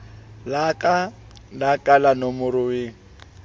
laka la ka la nomoruweng